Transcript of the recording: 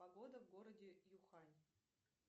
погода в городе юхань